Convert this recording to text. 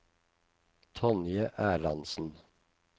Tonje Erlandsen